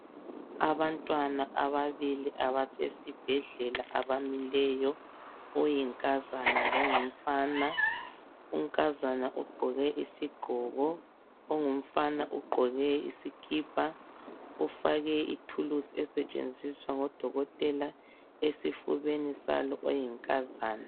Abantwana ababili abasesibhedlela abamileyo oyinkazana longumfana. Unkazana ugqoke isigqoko ongumfana ugqoke isikipa. Ufake ithulusi esetshenziswa ngodokotela esifubeni salo oyinkazana.